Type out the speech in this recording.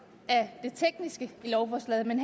af det tekniske i lovforslaget men